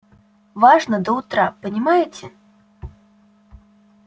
важно до утра понимаете